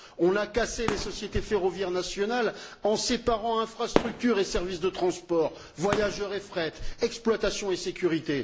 On a cassé les sociétés ferroviaires nationales en séparant infrastructures et services de transport, voyageurs et fret, exploitation et sécurité.